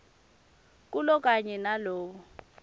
kulo kanye nawo